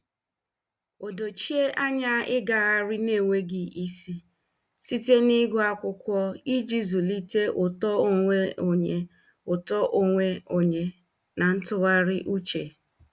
Ọ dochie anya ịgagharị n'enweghị isi site na ịgụ akwụkwọ iji zụlite uto onwe onye uto onwe onye na ntụgharị uche.